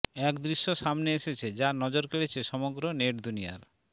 এক দৃশ্য সামনে এসেছে যা নজর কেড়েছে সমগ্র নেট দুনিয়ার